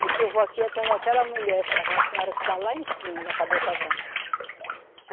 Disse, eu vou aqui atrás daquela mulher, daquela senhora que está lá em cima, da cabeça branca.